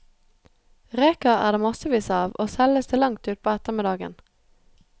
Reker er det massevis av, og selges til langt utpå ettermiddagen.